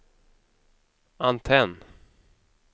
antenn